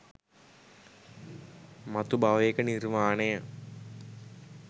මතු භවයක නිර්වාණය